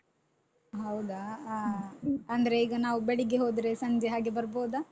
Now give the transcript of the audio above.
ಹೌದಾ ಹ ಅಂದ್ರೆ ಈಗ ನಾವು ಬೆಳಿಗ್ಗೆ ಹೋದ್ರೆ ಸಂಜೆ ಹಾಗೆ ಬರ್ಬೋದಾ?